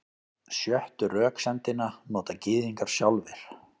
Sjöttu röksemdina nota Gyðingar sjálfir.